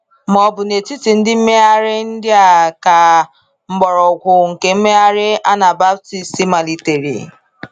Ma ọ bụ n'etiti ndị mmegharị ndị a ka mgbọrọgwụ nke mmegharị Anabaptist malitere.